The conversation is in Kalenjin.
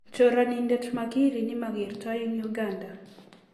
Choranindet mahiri ne magertoi eng Uganda.